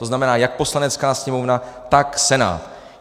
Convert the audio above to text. To znamená jak Poslanecká sněmovna, tak Senát.